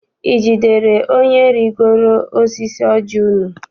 I jidere onye rigoro n'osisi ọji unu?